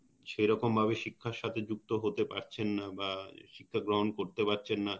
সেরকম ভাবে শিক্ষার সাথে যুক্ত হতে পারছেন না বা শিক্ষা গ্রহন করতে পারছেন না